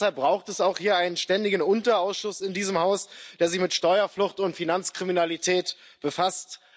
Und deshalb braucht es auch hier einen ständigen Unterausschuss in diesem Haus, der sich mit Steuerflucht und Finanzkriminalität befasst.